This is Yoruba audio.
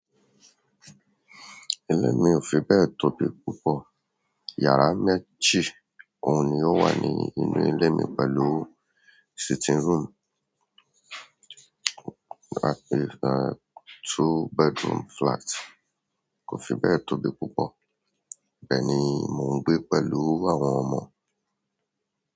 Ilé mi ò fi bẹ́ẹ̀ tóbi púpọ̀. Yàrá méjì òun ni ó wà ní inú ilé mi pẹ̀lú sitting room, two bedroom flat kò fi bẹ́ẹ̀ tóbi púpọ̀. Ibe ni, mò ń gbé pẹ̀lú àwọn ọmọ.